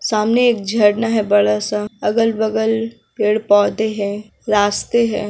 सामने एक झरना है बड़ा सा अगल-बगल पेड़-पौधे है रास्ते है।